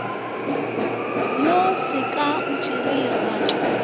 yo sefaka o tšere legato